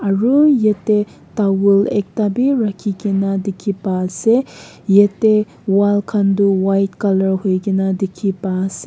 aru yate towel ekta be rakhi ke na dikhi pa ase yate wall khan tu white colour hoi ke na dikhi pa ase.